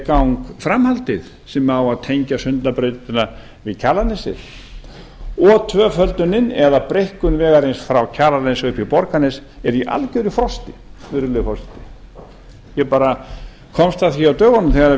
gang framhaldið sem á að tengja sundabrautina við kjalarnesið og tvöföldunin eða breikkun vegarins frá kjalarnesi upp í borgarnes er í algjöru frosti virðulegi forseti ég bara komst að því á dögunum þegar